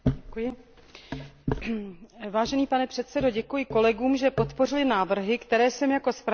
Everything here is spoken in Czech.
Vážený pane předsedo, děkuji kolegům, že podpořili návrhy, které jsem jako navrhovatelka uvedla ve svém stanovisku.